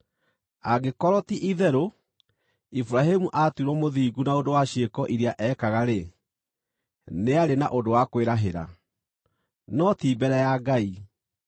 Angĩkorwo, ti-itherũ, Iburahĩmu aatuirwo mũthingu na ũndũ wa ciĩko iria ekaga-rĩ, nĩarĩ na ũndũ wa kwĩrahĩra, no ti mbere ya Ngai.